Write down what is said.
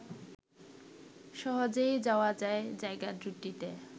সহজেই যাওয়া যায় জায়গা দুটিতে